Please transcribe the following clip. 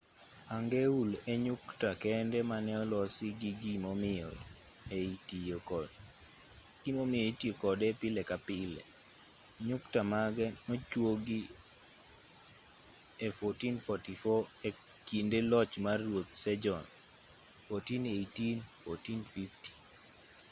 hangeul e nyukta kende mane olosi gi gimomiyo ei tiyo kode pile ka pile. nyukta mage nochuogi e 1444 e kinde loch mar ruoth sejon 1418 - 1450